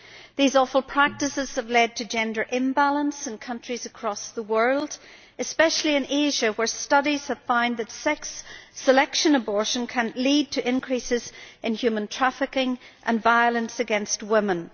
These awful practices have led to gender imbalance in countries across the world, especially in Asia, where studies have found that sex selective abortion can lead to increases in human trafficking and violence against women.